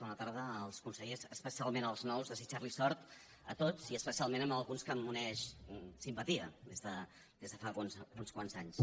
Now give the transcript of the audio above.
bona tarda als consellers especialment als nous desitjar los sort a tots i especialment a alguns que m’uneix simpatia des de fa uns quants anys